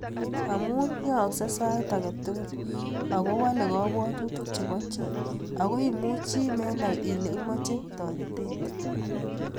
Amu aaksei sait ake tukul ako wale kabwatutik che bo chii ako imuchi menai ile imache taretet.